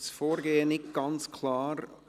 Das Vorgehen ist nicht ganz klar.